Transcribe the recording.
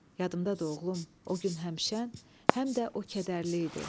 Yadımdadır, oğlum, o gün həm şən, həm də o kədərli idi.